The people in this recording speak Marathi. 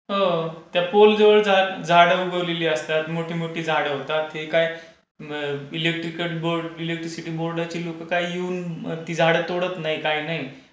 हो. त्या पोल जवळ झाडं उगवलेली असतात मोठी मोठी झाडं होतात हे काय इलेक्ट्रिकल बोर्ड इलेक्ट्रिसिटी बोर्डाची लोक काय येऊन ती झाडं तोडत नाही काय नाही,